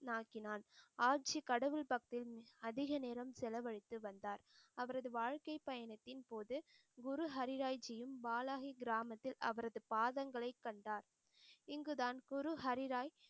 நாக்கினான் ஆட்சி கடவுள் பக்தின் அதிக நேரம் செலவழித்து வந்தார். அவரது வாழ்க்கைப் பயணத்தின் போது குரு ஹரிராய் ஜியும் வாழாகி கிராமத்தில் அவரது பாதங்களை கண்டார் இங்கு தான் குரு ஹரிராய்